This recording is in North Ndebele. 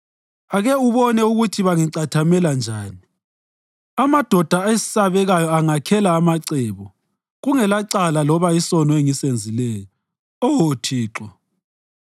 Ake ubone ukuthi bangicathamela njani! Amadoda esabekayo angakhela amacebo kungelacala loba isono engisenzileyo, Oh Thixo.